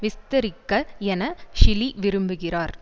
விஸ்தரிக்க என ஷிலி விரும்புகிறார்